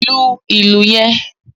Lu ìlù yen